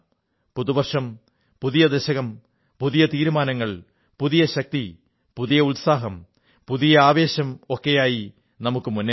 പുതുവർഷം പുതിയ ദശകം പുതിയ തീരുമാനങ്ങൾ പുതിയ ശക്തി പുതിയ ഉത്സാഹം പുതിയ ആവേശം ഒക്കെയുമായി നമുക്കു മുന്നേറാം